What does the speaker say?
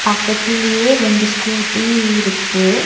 பக்கத்துலயே ரெண்டு ஸ்கூட்டி இருக்கு.